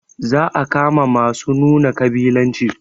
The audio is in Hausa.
Za a kama masu nuna ƙabilanci